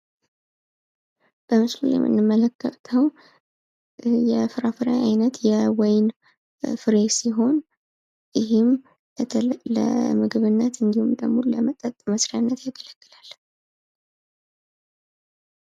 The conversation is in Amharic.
በምስሉ የምንመለከተው የፍራፍሬ አይነት የወይን ፍሬ ሲሆን ይህም ለምግብነት እንድሁም ደግሞ ለመጠጥ መስሪነት ያገለግላል።